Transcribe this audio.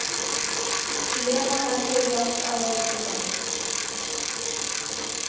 Lena bendir í átt að reynitrjánum.